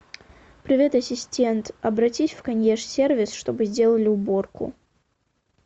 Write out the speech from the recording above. привет ассистент обратись в консьерж сервис чтобы сделали уборку